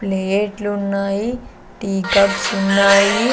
ప్లేట్లు ఉన్నాయి tea cups ఉన్నాయి.